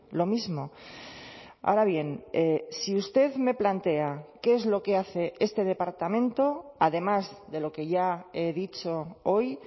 lo mismo ahora bien si usted me plantea qué es lo que hace este departamento además de lo que ya he dicho hoy